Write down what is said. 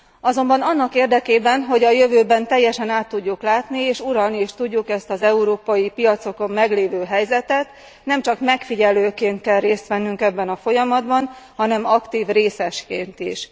Azonban annak érdekében, hogy a jövőben teljesen át tudjuk látni, és uralni is tudjuk ezt az európai piacokon meglévő helyzetet, nem csak megfigyelőként kell részt vennünk ebben a folyamatban, hanem aktív részesként is.